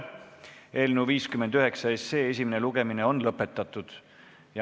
Eelnõu 59 esimene lugemine on lõpetatud.